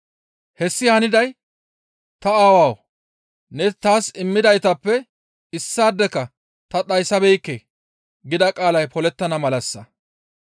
Hessi haniday, «Ta Aawawu! Ne taas immidaytappe issaadeka ta dhayssabeekke» gida qaalay polettana malassa.